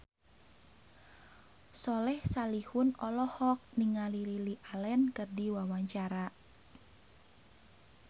Soleh Solihun olohok ningali Lily Allen keur diwawancara